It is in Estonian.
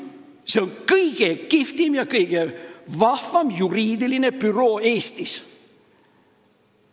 See on kõige kihvtim ja kõige vahvam juriidiline büroo Eestis.